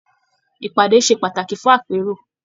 Ìpàdé ṣe pàtàkì fún àpérò.